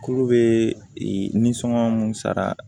Kuru bee nisɔngɔ mun sara